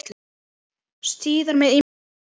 Síðar með ýmsum liðum.